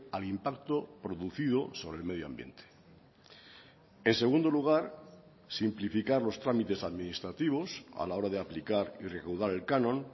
al impacto producido sobre el medio ambiente en segundo lugar simplificar los trámites administrativos a la hora de aplicar y recaudar el canon